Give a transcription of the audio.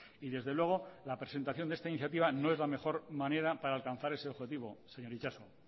y desde luego la presentación de esta iniciativa no es la mejor manera para alcanzar ese objetivo señor itxaso